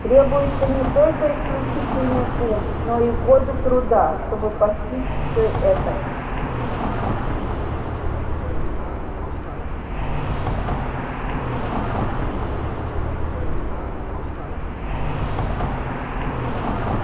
требуется не только исключительный ум но и годы труда чтобы постичь всё это